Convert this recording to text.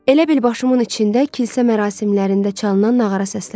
Elə bil başımın içində kilsə mərasimlərində çalınan nağara səslənir.